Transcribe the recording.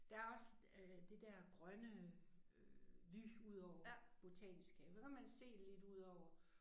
Der også øh det dér grønne øh vue udover botanisk have der kan man se lidt udover